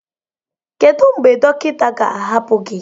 Kedu mgbe dọkịta ga-ahapụ gị?